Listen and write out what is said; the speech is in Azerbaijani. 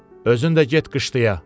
Özün də get qışlaya.